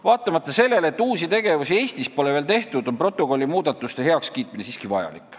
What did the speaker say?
Vaatamata sellele, et uusi tegevusi Eestis pole veel tehtud, on protokolli muudatuste heakskiitmine siiski vajalik.